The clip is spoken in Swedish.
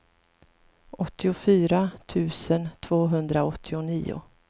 åttiofyra tusen tvåhundraåttionio